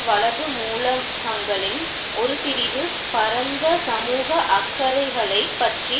வலது மூலகங்களின் ஒரு பிரிவு பரந்த சமூக அக்கறைகளைப் பற்றி